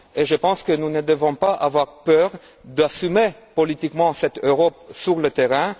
terrain. Je pense que nous ne devons pas avoir peur d'assumer politiquement cette Europe de